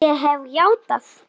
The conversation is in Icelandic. Ég hef játað.